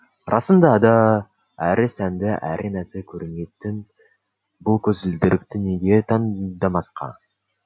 расында да әрі сәнді әрі нәзік көрінетін бұл көзілдірікті неге таңдамасқа